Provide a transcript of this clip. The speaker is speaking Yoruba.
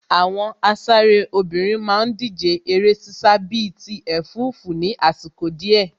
Àwọn asáré obìnrin má ń díje eré ṣíṣá bíi ti ẹ̀fúùfù ní àsìkò díẹ̀